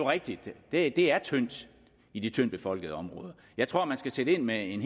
rigtigt at det er tyndt i de tyndtbefolkede områder jeg tror man skal sætte ind med en